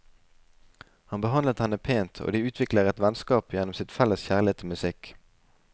Han behandler henne pent, og de utvikler et vennskap gjennom sin felles kjærlighet til musikk.